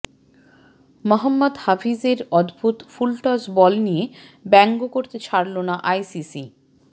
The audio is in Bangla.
মহম্মদ হাফিজের অদ্ভুত ফুলটস বল নিয়ে ব্যঙ্গ করতে ছাড়ল না আইসিসি